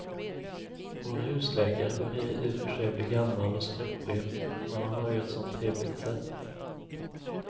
Vår husläkare börjar i och för sig bli gammal och skröplig, men han har ju ett sådant trevligt sätt!